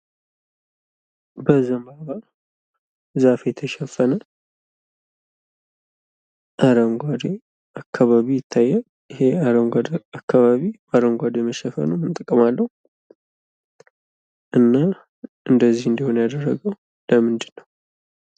በዘንባባ ዛፍ የተሸፈነ አረንጓዴ አካባቢ ይታያል ይህ አረንጓዴ አካባቢ አረንጓዴ መሸፈኑ ምን ጥቅም አለው እና እንደዚህ እንዲሆን ያደረገው ለምንድን ነው?